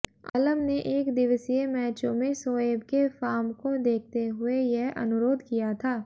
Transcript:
आलम ने एकदिवसीय मैचों में शोएब के फार्म को देखते हुए यह अनुरोध किया था